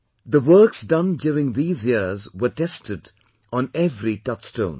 The works done during these years were tested on every touch stone